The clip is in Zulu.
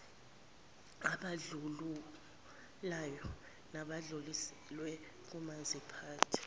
abandlululayo nadluliselwe komaziphathe